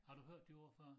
Har du hørt det ord før?